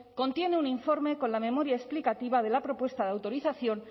contiene un informe con la memoria explicativa de la propuesta de autorización